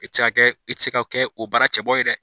E ti se ka, e ti se ka kɛ o bara cɛbɔ ye dɛ